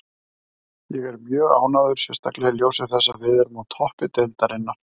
Ég er mjög ánægður, sérstaklega í ljósi þess að við erum á toppi deildarinnar.